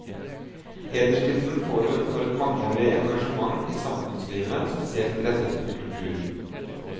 Hederstittelen får hun for et mangeårig engasjement i samfunnslivet, spesielt rettet mot kultur.